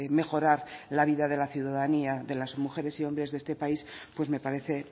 mejorar la vida de la ciudadanía de las mujeres y hombres de este país pues me parece